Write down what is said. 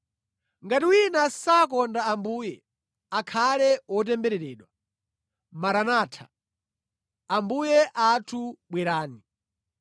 Ngati wina sakonda Ambuye akhale wotembereredwa. Maranatha! (Ambuye athu bwerani)!